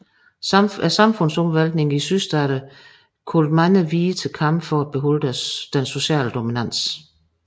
Samfundsomvæltningerne i Sydstaterne kaldte mange hvide til kamp for at beholde den sociale dominans